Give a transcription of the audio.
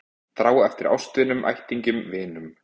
Þrá eftir ástvinunum, ættingjunum, vinunum.